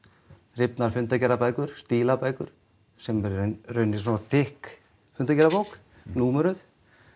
rifnar fundargerðarbækur stílabækur sem er í rauninni svona þykk fundargerðarbók númeruð